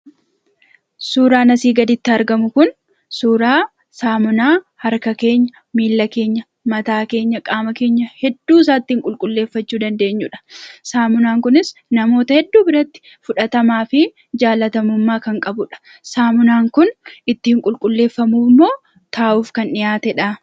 Suuraan asii gaditti argamu kun suuraa saamunaa harka keenya, miilla keenya, mataa keenya, qaama keenya hedduusaa ittiin qulqulleeffachuu dandeenyudha. Saamunaan kunis namoota hedduu biratti fudhatamaa fi jaalatamummaa kan qabudha. Saamunaan kun ittiin qulqulleeffamuuf moo taa'uuf kan dhiyaatedhaa?